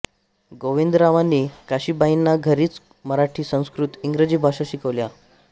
गोविंदरावांनी काशीबाईंना घरीच मराठी संस्कृत इंग्रजी भाषा शिकवल्या